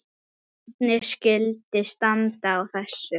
Hvernig skyldi standa á þessu?